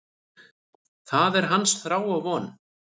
Það er hans þrá og von.